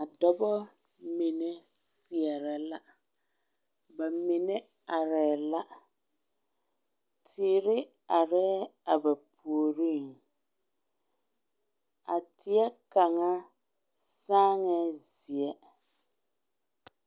A dɔba mine seɛre la, ba mine are la, teere are a ba puoriŋ a teɛ kaŋa saaŋɛ zeɛ.